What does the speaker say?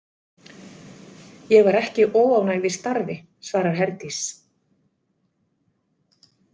Ég var ekki óánægð í starfi, svarar Herdís.